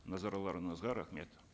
назарларыңызға рахмет